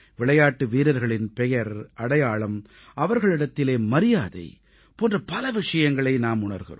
விளையாட்டு வீரர்களின் பெயர் அடையாளம் அவர்களிடத்தில் மரியாதை போன்ற பல விஷயங்களை நாம் உணர்கிறோம்